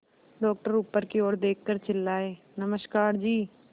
doctor ऊपर की ओर देखकर चिल्लाए नमस्कार जी